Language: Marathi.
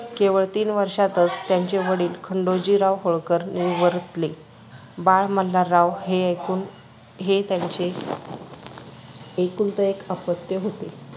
केवळ तीन वर्षातच त्यांचे वडील खंडोजीराव होळकर निवडले बाळ मल्हारराव हे एकूण हे त्यांचे एकुलते एक अपत्य होते.